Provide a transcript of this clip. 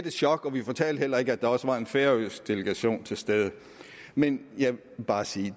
et chok og vi fortalte heller ikke at der også var en færøsk delegation til stede men jeg vil bare sige